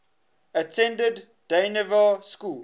attended dynevor school